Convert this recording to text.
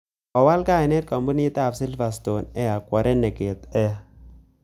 Kowal kainet kampuniit ap Silverstone Air kwo Renegade air